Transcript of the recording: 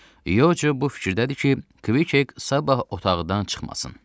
Yoco bu fikirdədir ki, Kviket sabah otaqdan çıxmasın.